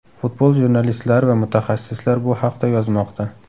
Futbol jurnalistlari va mutaxassislar bu haqda yozmoqda.